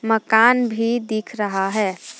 मकान भी दिख रहा है।